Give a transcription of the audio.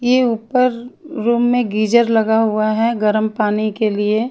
ये ऊपर रूम में गीजर लगा हुआ हैं गर्म पानी के लिए।